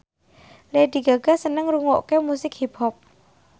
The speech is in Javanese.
Lady Gaga seneng ngrungokne musik hip hop